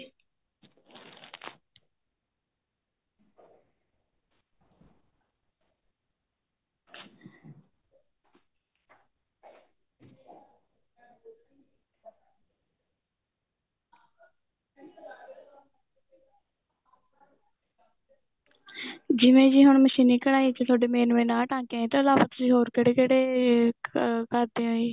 ਜਿਵੇਂ ਜੀ ਹੁਣ ਮਸ਼ੀਨੀ ਕਢਾਈ ਚ main main ਆ ਟਾਂਕੇ ਇਸ ਤੋਂ ਇਲਾਵਾ ਤੁਸੀਂ ਹੋ ਕਿਹੜੇ ਕਿਹੜੇ ਕਰਦੇ ਓ ਜੀ